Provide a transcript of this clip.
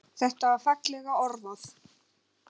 Þetta er fallega orðað.